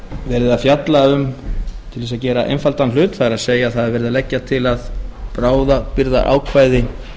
verið að fjalla um til þess að gera einfaldan hlut það er það er verið að leggja til að bráðabirgðaákvæði